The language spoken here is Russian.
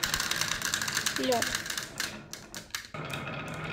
лед